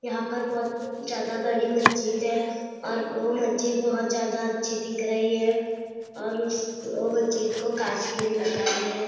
यहां पर बहुत ज्यादा बड़ी मस्जिद है और वो मस्जिद बहुत ज्यादा अच्छी दिख रही है और उस वो मस्जिद को काच के लगाए है।